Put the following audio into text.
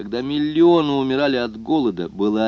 когда миллионы умирали от голода была